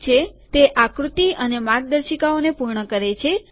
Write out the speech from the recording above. ઠીક છે તે આકૃતિ અને માર્ગદર્શિકાઓને પૂર્ણ કરે છે